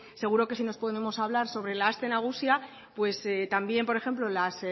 seguro que si nos ponemos a hablar sobre la aste nagusia pues también por ejemplo las